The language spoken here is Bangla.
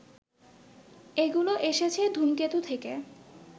এগুলো এসেছে ধুমকেতু থেকে